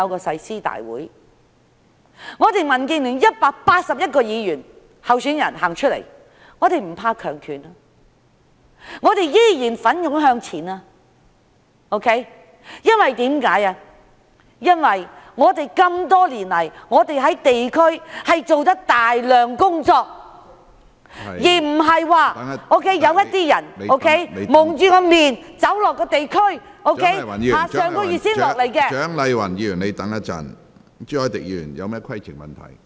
民建聯共有181名區議會候選人，我們不畏強權，依然會奮勇向前，因為我們多年來做了大量地區工作，而不是像有些人蒙面走到地區，在上個月才來到......